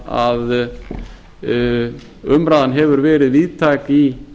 að umræðan hefur verið víðtæk í